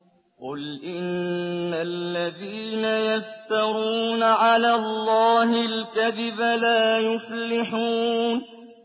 قُلْ إِنَّ الَّذِينَ يَفْتَرُونَ عَلَى اللَّهِ الْكَذِبَ لَا يُفْلِحُونَ